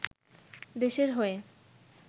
দেশের হয়ে